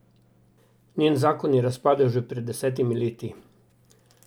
Njen zakon je razpadel že pred desetimi leti.